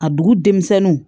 A dugu denmisɛnninw